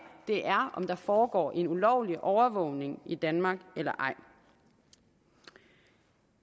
er om der foregår en ulovlig overvågning i danmark eller ej det vi